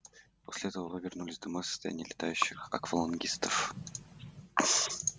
после этого вы вернулись домой состоянии летающих аквалангистов